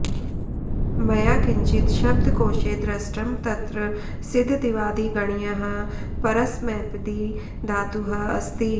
मया किञ्चित् शब्दकोशे दृष्टं तत्र सिध् दिवादिगणियः परस्मैपदी धातुः अस्ति